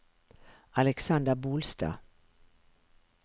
Alexander Bolstad